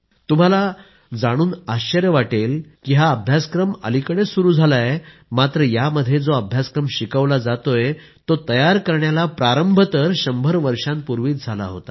तुम्हा लोकांना जाणून आश्चर्य वाटेल हा अभ्यासक्रम अलिकडेच सुरू झालाय मात्र यामध्ये जो अभ्यासक्रम शिकवला जातोय तो तयार करण्याला प्रारंभ तर 100 वर्षांपूर्वी झाला होता